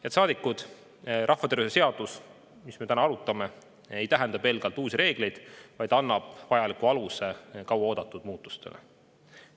Head saadikud, rahvatervishoiu seadus, mida me täna arutame, ei tähenda pelgalt uusi reegleid, vaid vajaliku aluse kauaoodatud muutustele.